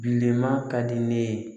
Bilenman ka di ne ye